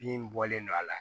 Bin bɔlen do a la